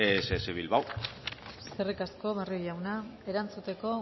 ess bilbao eskerrik asko eskerrik asko barrio jauna erantzuteko